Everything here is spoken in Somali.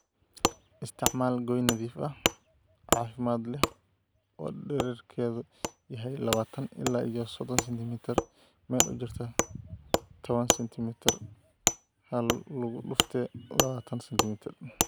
Isticmaal gooyn nadiif ah, caafimaad leh oo dhererkeedu yahay labatan ila iyo sodon sentimitar meel u jirta tawan sentimitar1lugudufte labatan sentimitar,